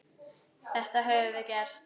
Þetta höfum við gert.